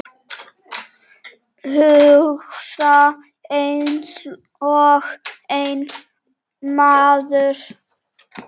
Hugsa einsog einn maður.